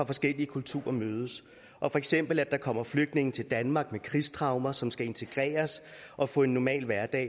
forskellige kulturer mødes for eksempel når der kommer flygtninge til danmark med krigstraumer som skal integreres og få en normal hverdag